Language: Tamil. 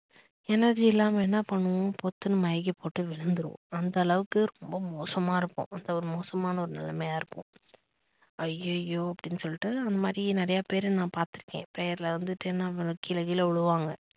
energy இல்லாம என்ன பண்ணுவோம் பொத்துன்னு மயக்கம் போட்டு விழுந்திடுவோம் அந்த அளவுக்கு ரொம்ப மோசமா இருக்கும் ரொம்ப மோசமான ஒரு நிலமையா இருக்கும் அய்யய்யோ அப்படின்னு சொல்லிட்டு அந்த மாதிரி நிறையா பேர நான் பாத்து இருக்கேன் prayer ல வந்துட்டு என்ன கீழ கீழ விழுவாங்க